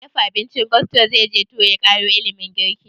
Mai dafa abincin gusto zai je turai ƙaro ilimin girki?